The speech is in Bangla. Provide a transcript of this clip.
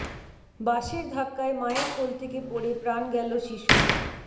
বাসের ধাক্কায় মায়ের কোল থেকে পড়ে প্রাণ গেল শিশুর